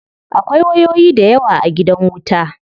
Akwai wayoyi dayawa a gidan wuta.